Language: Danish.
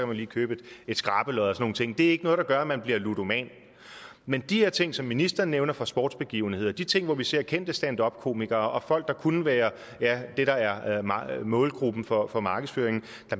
man lige købe skrabelod og nogle ting det er ikke noget der gør at man bliver ludomani men de her ting som ministeren nævner fra sportsbegivenheder de ting hvor vi ser kendte standupkomikere og folk der kunne være målgruppen for for markedsføring